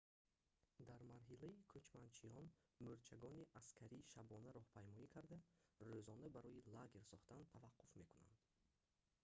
дар марҳилаи кучманчиён мӯрчагони аскарӣ шабона роҳпаймоӣ карда рӯзона барои лагер сохтан таваққуф мекунанд